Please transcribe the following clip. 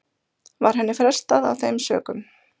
Var henni frestað af þeim sökum